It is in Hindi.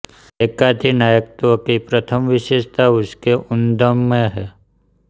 एकाधिनायकत्व की प्रथम विशेषता उसके उद्गम में हैं